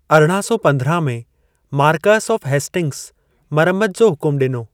अरणां सौ पंद्रहां में मारकअस ऑफ़ हेस्टिंग्स मरमत जो हुकुमु ॾिनो।